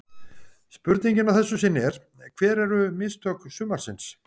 Spurningin að þessu sinni er: Hver eru mistök sumarsins?